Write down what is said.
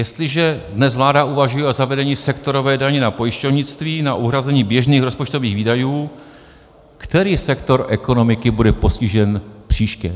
Jestliže dnes vláda uvažuje o zavedení sektorové daně na pojišťovnictví na uhrazení běžných rozpočtových výdajů, který sektor ekonomiky bude postižen příště?